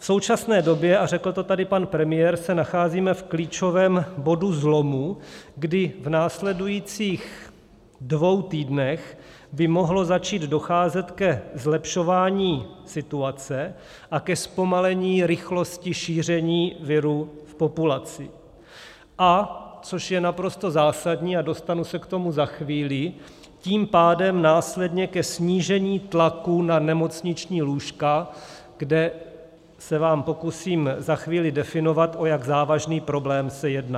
V současné době, a řekl to tady pan premiér, se nacházíme v klíčovém bodu zlomu, kdy v následujících dvou týdnech by mohlo začít docházet ke zlepšování situace a ke zpomalení rychlosti šíření viru v populaci, a což je naprosto zásadní, a dostanu se k tomu za chvíli, tím pádem následně ke snížení tlaku na nemocniční lůžka, kde se vám pokusím za chvíli definovat, o jak závažný problém se jedná.